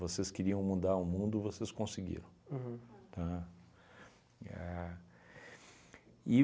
Vocês queriam mudar o mundo, vocês conseguiram. Uhum. Tá? A e